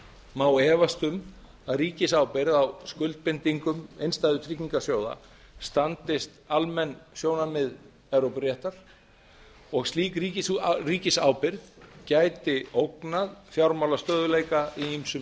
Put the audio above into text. má efast um að ríkisábyrgð á skuldbindingum innstæðutryggingarsjóða standist almenn sjónarmið evrópuréttar og að slík ríkisábyrgð gæti ógnað fjármálastöðugleika í ýmsum